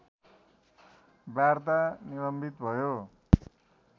वार्ता निलम्बित भयो